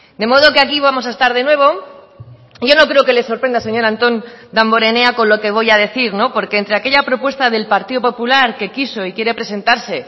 de modo que aquí vamos a estar de nuevo yo no creo que le sorprenda señor antón damborenea con lo que voy a decir no porque entre aquella propuesta del partido popular que quiso y quiere presentarse